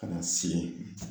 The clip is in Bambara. Ka na sigi